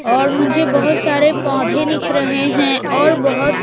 और मुझे बहोत सारे पौधे दिख रहे हैं और बहोत--